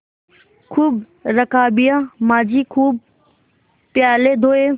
खूब रकाबियाँ माँजी खूब प्याले धोये